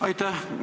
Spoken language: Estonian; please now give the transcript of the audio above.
Aitäh!